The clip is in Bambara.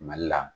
Mali la